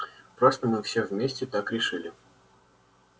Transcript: просто мы все вместе так решили